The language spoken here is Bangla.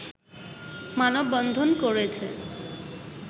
মানববন্ধন করেছে